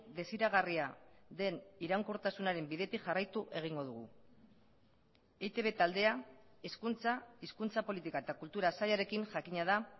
desiragarria den iraunkortasunaren bidetik jarraitu egingo dugu eitb taldea hezkuntza hizkuntza politika eta kultura sailarekin jakina da